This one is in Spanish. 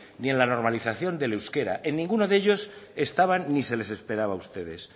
ni en la normalización del euskera en ninguno de ellos estaban ni se les esperaba a ustedes